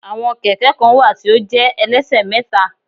Àwọn Kẹ̀kẹ́ kan wà tí ó jẹ́ ẹlẹ́ṣẹ̀mẹ́ta